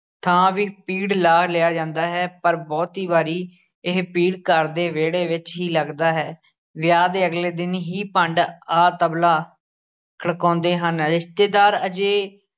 ਥਾਂ ਵੀ ਪੀੜ ਲਾ ਲਿਆ ਜਾਂਦਾ ਹੈ, ਪਰ ਬਹੁਤੀ ਵਾਰੀ ਇਹ ਪੀੜ ਘਰ ਦੇ ਵਿਹੜੇ ਵਿਚ ਹੀ ਲੱਗਦਾ ਹੈ, ਵਿਆਹ ਦੇ ਅਗਲੇ ਦਿਨ ਹੀ ਭੰਡ ਆ ਤਬਲਾ ਖੜਕਾਉਂਦੇ ਹਨ, ਰਿਸ਼ਤੇਦਾਰ ਅਜੇ